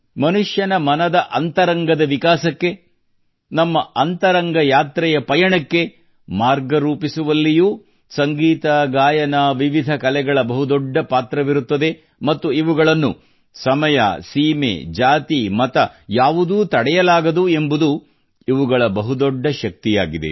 ಮಾನವನ ಮನದ ಅಂತರಂಗದ ವಿಕಾಸಕ್ಕೆ ನಮ್ಮ ಅಂತರಂಗದ ಯಾತ್ರೆಯ ಪಯಣಕ್ಕೆ ಮಾರ್ಗ ರೂಪಿಸುವಲ್ಲಿಯೂ ಸಂಗೀತಗಾಯನ ವಿವಿಧ ಕಲೆಗಳ ಬಹುದೊಡ್ಡ ಪಾತ್ರವಿರುತ್ತದೆ ಮತ್ತು ಇವುಗಳನ್ನು ಸಮಯ ಸೀಮೆ ಜಾತಿ ಮತ ಯಾವುದೂ ತಡೆಯಲಾಗದು ಎಂಬುದು ಇವುಗಳ ಬಹುದೊಡ್ಡ ಶಕ್ತಿಯಾಗಿದೆ